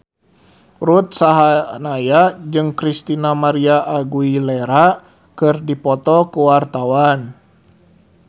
Ruth Sahanaya jeung Christina María Aguilera keur dipoto ku wartawan